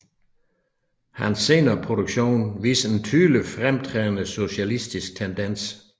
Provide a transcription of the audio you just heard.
Hans senere produktion viser en tydelig fremtrædende socialistisk tendens